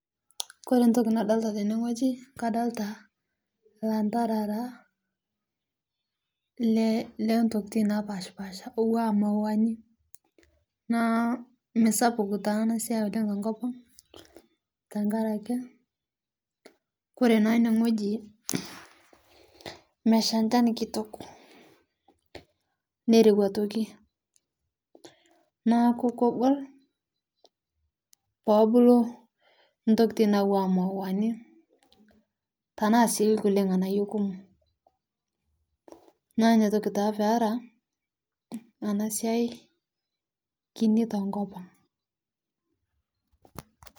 Kore ntoki nadolita teneng'oji kadolita lantarara letokiti napashipasha owua mauwani, naa meisapuk taa ana siyai tokopang' tekarake kore naa ene ng'oji meshaa shan kitok nerewua aitoki, naaku kogol pobulu ntokit nawua mauwani tanaa sii kulie ng'anayuo kumoo naa niatoki taa peara anaa siyai kinii tokopang.'